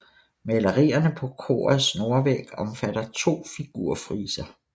Malerierne på korets nordvæg omfatter to figurfriser